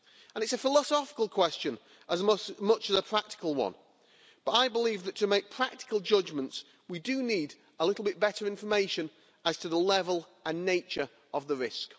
It's a philosophical question as much as a practical one, but I believe that to make practical judgments we need a little bit better information as to the level and nature of the risk.